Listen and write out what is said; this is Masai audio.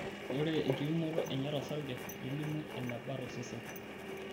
Ore enkipimoto enye tosarge nelimu eneba tosesen.